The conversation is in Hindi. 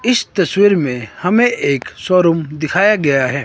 इस तस्वीर में हमें एक शोरूम दिखाया गया है।